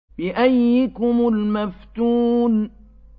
بِأَييِّكُمُ الْمَفْتُونُ